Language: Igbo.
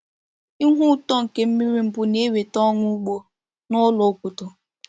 Ihu ụtọ nke mmiri mbu na-eweta ọṅụ ugbo n’ụlọ obodo.